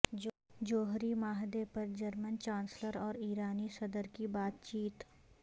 جوہری معاہدہ پر جرمن چانسلر اور ایرانی صدر کی بات چیت